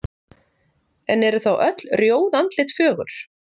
en eru þá öll rjóð andlit fögur